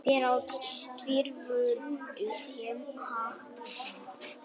Fyrr á tíð voru skeljar stundum notaðar sem matskeiðar.